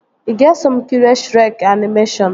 Ị ga-eso m kirie Shrek animeshọnu?